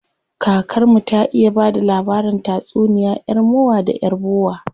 Kakar mu ta iya bada labarin tatsuniya yar mowa da yar bowa.